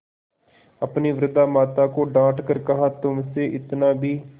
अपनी वृद्धा माता को डॉँट कर कहातुमसे इतना भी